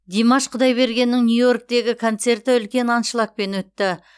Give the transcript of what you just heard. димаш құдайбергеннің нью йорктегі концерті үлкен аншлагпен өтті